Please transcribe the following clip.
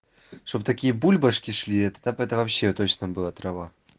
чтобы такие бульбашки шли так это вообще точно было трава